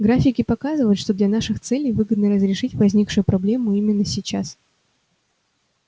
графики показывают что для наших целей выгодно разрешить возникшую проблему именно сейчас